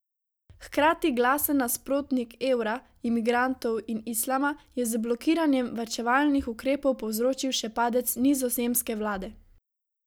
Hkrati glasen nasprotnik evra, imigrantov in Islama je z blokiranjem varčevalnih ukrepov povzročil še padec nizozemske vlade.